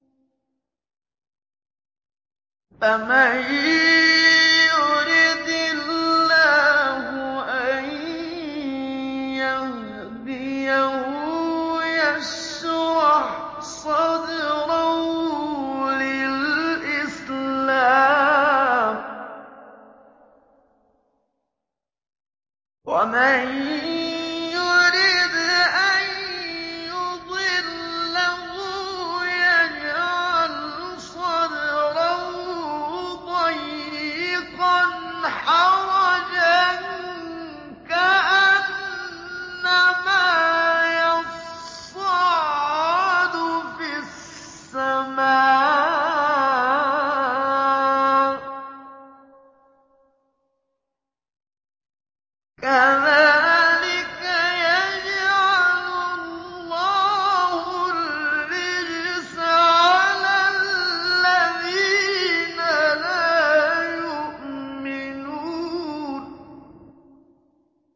فَمَن يُرِدِ اللَّهُ أَن يَهْدِيَهُ يَشْرَحْ صَدْرَهُ لِلْإِسْلَامِ ۖ وَمَن يُرِدْ أَن يُضِلَّهُ يَجْعَلْ صَدْرَهُ ضَيِّقًا حَرَجًا كَأَنَّمَا يَصَّعَّدُ فِي السَّمَاءِ ۚ كَذَٰلِكَ يَجْعَلُ اللَّهُ الرِّجْسَ عَلَى الَّذِينَ لَا يُؤْمِنُونَ